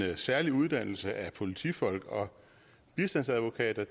særlig uddannelse af politifolk og bistandsadvokater